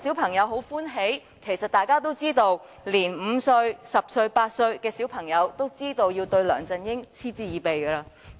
然而，大家其實也知道連5歲、10歲以至8歲的孩子也對他嗤之以鼻。